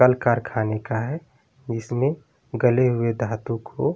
कल-कारखाने का है जिसमें गले हुए घातु को --